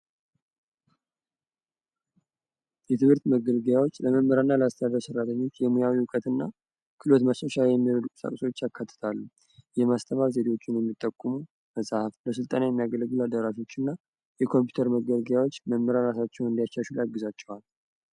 የትምህርት መገልገያዎች ለተማሪና ላስተማሪው የሙያ መገልገያ እና ክህሎት መስጫ መገልገያዎችን ያጠቃልላል የኮምፒውተር መገልገያዎች መምህራን እራሳቸውን እንዲያሻሽሉ ያግዛቸዋል።